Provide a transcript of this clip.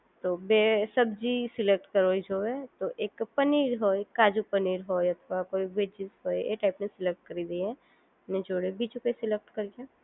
તો બે સબ્જી સિલેક્ટ કરવી જોઈએ તો એક પનીર હોય કાજુ પનીર હોય અથવા કોઈ વેજીસ હોય એ સિલેક્ટ કરી દે દઈએ જોડે બીજું કઈ સિલેક્ટ કરીએ